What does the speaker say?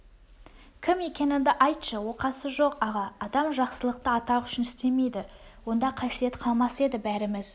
кім екеңіңді айтшы оқасы жоқ аға адам жақсылықты атақ үшін істемейді онда қасиет қалмас еді бәріміз